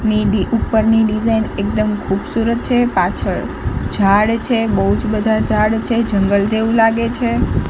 ઉપરની ડિઝાઇન એકદમ ખૂબસૂરત છે પાછળ ઝાડ છે બોજ બધા ઝાડ છે જંગલ જેવુ લાગે છે.